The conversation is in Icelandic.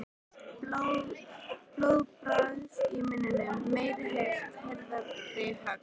Blóðbragð í munninum. meiri heift. harðari högg.